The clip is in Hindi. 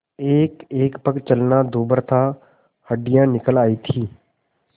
एकएक पग चलना दूभर था हड्डियाँ निकल आयी थीं